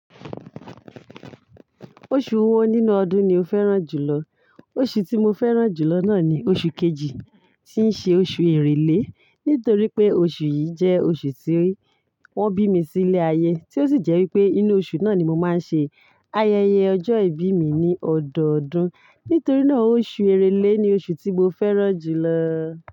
Oṣù wo nínú ọdún ni o fẹ́ràn jùlọ? Oṣù tí mo fẹ́ràn jù lọ náà ni oṣù kejì, tí ń ṣe oṣù Èrèlé, nítorí pé oṣù yìí jẹ́ oṣù tí wọ́n bí mi sí ilé ayé, tí ó sì jẹ́ wípé inú oṣù náà ni mo máa ń ṣe ayẹyẹ ọjọ́ ìbí mi ní ọdọọdún. Nítorí náà, oṣù Èrèlé ni oṣù tí mo fẹ́ràn jù lọ.